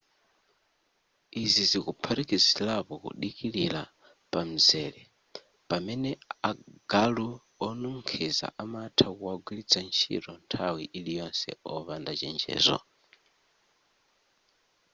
izi zikuphatikizirapo kudikilira pamzere pamene agalu onukhiza amatha kuwagwiritsa ntchito nthawi iliyonse opanda chenjezo